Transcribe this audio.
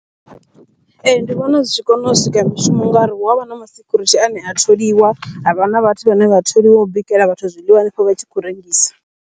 Ee, ndi vhona zwi tshi kona u sika mishumo ngauri hu avha na masecurity ane a tholiwa, havha na vhathu vhane vha tholiwa u bikela vhathu zwiḽiwa hanefho vha tshi khou rengisa.